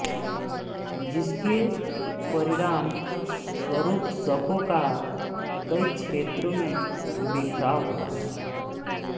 जिसके परिणाम स्वरुप शकों का कई क्षेत्रों में बिखराव हुआ